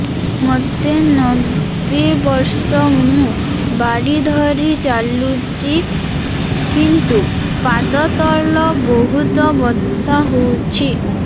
ମୋତେ ନବେ ବର୍ଷ ମୁ ବାଡ଼ି ଧରି ଚାଲୁଚି କିନ୍ତୁ ପାଦ ତଳ ବହୁତ ବଥା ହଉଛି